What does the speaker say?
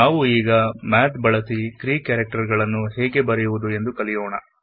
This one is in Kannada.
ನಾವು ಈಗ ಮ್ಯಾಥ್ ಬಳಸಿ ಗ್ರೀಕ್ ಕ್ಯಾರೆಕ್ಟರ್ ಗಳನ್ನು ಬರೆಯುವ ರೀತಿಯನ್ನು ನೋಡೋಣ